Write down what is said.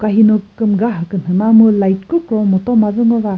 ka hino kümüga kha künhü ba mu light kükro mütoma züngoba.